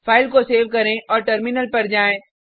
file को save करें और टर्मिनल पर जाएँ